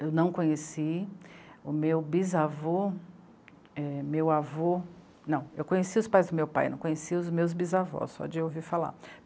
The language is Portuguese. Eu não conheci o meu bisavô é... meu avô... Não, eu conheci os pais do meu pai, não conheci os meus bisavós, só de ouvir falar.